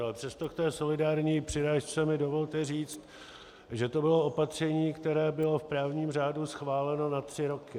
Ale přesto k té solidární přirážce mi dovolte říct, že to bylo opatření, které bylo v právním řádu schváleno na tři roky.